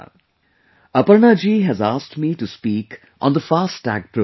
Aparna ji has asked me to speak on the 'FASTag programme'